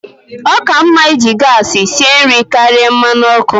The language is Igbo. Ọ ka mma iji gas sie nri karịa mmanụ ọkụ.